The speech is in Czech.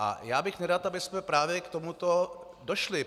A já bych nerad, abychom právě k tomuto došli.